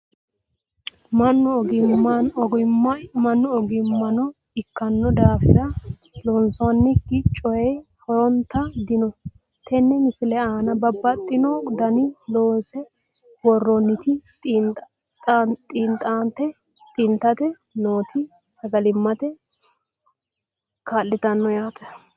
Mannu egenaammo ikkinno daafirra loosannokki coyi horontta dinno. Tenne misile aanna babaxxittinno daniinni loonsse woroonnitti xaaxante nootti sagalimmatte kaa'littanno yaatte